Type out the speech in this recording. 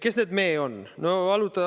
Kes need "me" on?